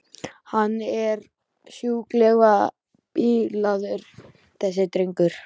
Hann er sjúklega bilaður þessi drengur.